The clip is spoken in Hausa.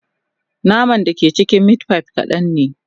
Naman da ke cikin meat pie kadan ne